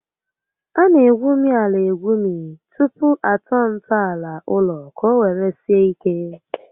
A na egwumi ala egwumi tupu atọọ ntọala ụlọ ka ọ were sie ike